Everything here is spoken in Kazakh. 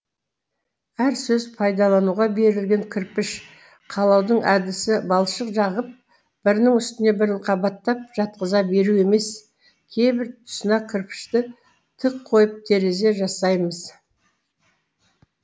әр сөз пайдалануға берілген кірпіш қалаудың әдісі балшық жағып бірінің үстіне бірін қабаттап жатқыза беру емес кейбір тұсына кірпішті тік қойып терезе жасаймыз